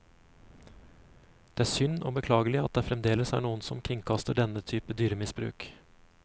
Det er synd og beklagelig at det fremdeles er noen som kringkaster denne type dyremisbruk.